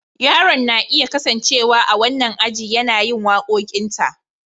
Yaron na iya kasancewa a wannan ajin yana yin waƙoƙinta.